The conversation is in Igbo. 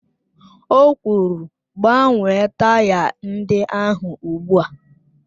O kwuru, gbanwee taya ndị ahụ ozugbo!